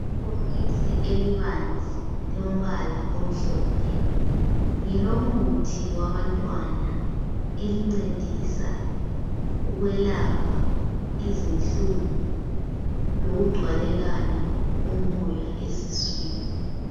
Ibhokisi elibanzi lombala omhlophe ngelomuthi wabantwana. Elincedisa ukwelapha izinhlungu lokugcwalelana kumoya esiswini.